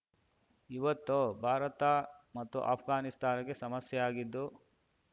ಇವೊತ್ತು ಭಾರತ ಮತ್ತು ಅಫ್ಘಾನಿಸ್ತಾನಕ್ಕೆ ಸಮಸ್ಯೆಯಾಗಿದ್ದು